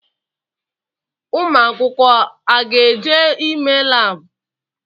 Ụmụ akwụkwọ a ga eje ime laabu?